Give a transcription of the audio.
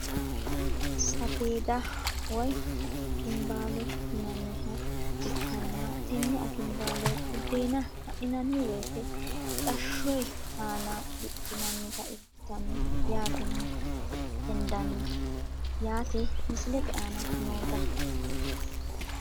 Safeeda woyi akinbaalo yinaniha ikanna tene akinbaalo budeena ga`ninani woyiite mixashshoye aana diphinanita ikitano yaateni hendani yaate misilete aana noota.